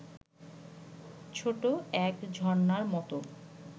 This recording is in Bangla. ছোট এক ঝরণার মত